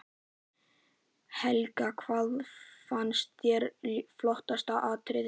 Helga: Hvað fannst þér flottasta atriðið?